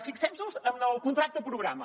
fixem nos en el contracte programa